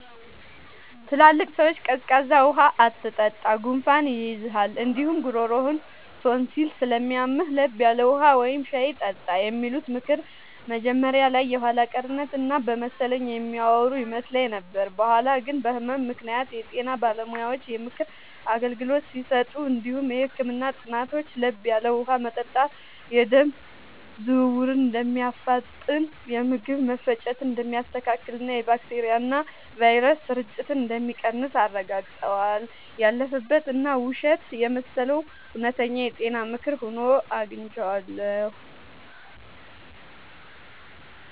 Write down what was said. ትላልቅ ሰዎች “ቀዝቃዛ ውሃ አትጠጣ፣ ጉንፋን ይይዝሃል እንዲሁም ጉሮሮህን ቶንሲል ስለሚያምህ፤ ለብ ያለ ውሃ ወይም ሻይ ጠጣ” የሚሉት ምክር መጀመሪያ ላይ የኋላ ቀርነት እና በመሰለኝ የሚያወሩ ይመስል ነበር። በኋላ ግን በህመም ምክንያት የጤና ባለሙያዎች የምክር አገልግሎት ሲሰጡ እንዲሁም የህክምና ጥናቶች ለብ ያለ ውሃ መጠጣት የደም ዝውውርን እንደሚያፋጥን፣ የምግብ መፈጨትን እንደሚያስተካክልና የባክቴሪያና ቫይረስ ስርጭትን እንደሚቀንስ አረጋግጠዋል። ያለፈበት እና ውሸት የመሰለው እውነተኛ የጤና ምክር ሆኖ አግኝቼዋለሁ።